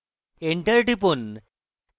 enter টিপুন